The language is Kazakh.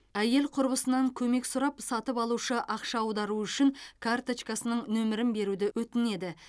әйел құрбысынан көмек сұрап сатып алушы ақша аударуы үшін карточкасының нөмірін беруді өтінеді